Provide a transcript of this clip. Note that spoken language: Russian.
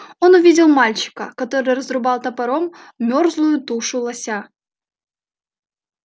он увидел мальчика который разрубал топором мёрзлую тушу лося